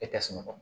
E tɛ sunɔgɔ